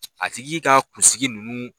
A tigi ka kunsigi ninnu.